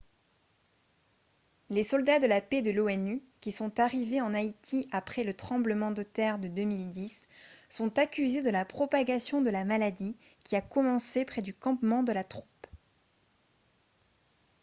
les soldats de la paix de l'onu qui sont arrivés en haïti après le tremblement de terre de 2010 sont accusés de la propagation de la maladie qui a commencé près du campement de la troupe